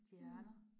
Mh